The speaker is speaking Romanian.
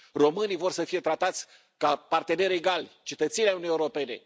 Românii vor să fie tratați ca parteneri egali, ca cetățeni ai Uniunii Europene.